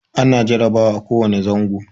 Ana jarabawa a ko wane zango.